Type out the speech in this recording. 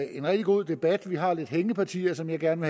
en rigtig god debat vi har lidt hængepartier som jeg gerne